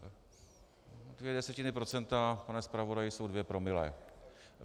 Dvě desetiny procenta, pane zpravodaji, jsou dvě promile.